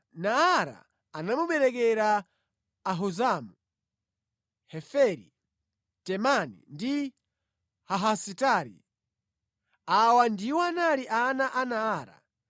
Naara anamuberekera Ahuzamu, Heferi, Temani ndi Haahasitari. Awa ndiwo anali ana a Naara.